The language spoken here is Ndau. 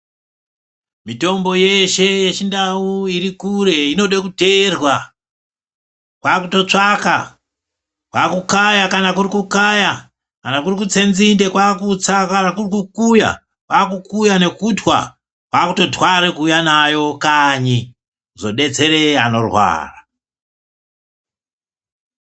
Mitombo yeshe yechindau iri kure inode kuteerwa kwakutotsvaka kwakukaya kana kuri kukaya kana kuri kutse nzinde kwakutsa kana kuri kukuya kwakukuya nekutwa kwakutotware kuuya nayo kanyi kuzodetsere anorwara.